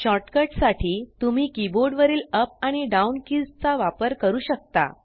shortcut साठी तुम्ही keyboard वरील अप आणि डाउन कीज चा वापर करू शकता